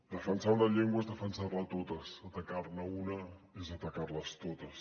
defensar una llengua és defensar les totes atacar ne una és atacar les totes